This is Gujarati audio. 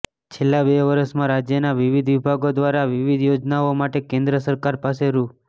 છેલ્લા બે વર્ષમાં રાજ્યના વિવિધ વિભાગો દ્વારા વિવિધ યોજનાઓ માટે કેન્દ્ર સરકાર પાસે રૂા